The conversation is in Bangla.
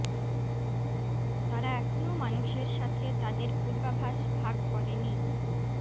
তারা এখনো মানুষের সাথে তাদের পূর্বাভাস ভাগ করে নি